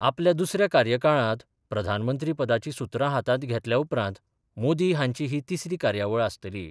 आपल्या दुसऱ्या कार्यकाळांत प्रधानमंत्री पदाची सुत्रा हातांत घेतल्या उपरांत मोदी हांची ही तीसरी कार्यावळ आसतली.